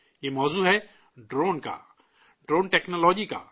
یہ موضوع ہے، ڈرون کا، ڈرون ٹیکنالوجی کا